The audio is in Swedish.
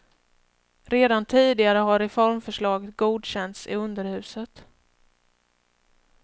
Redan tidigare har reformförslaget godkänts i underhuset.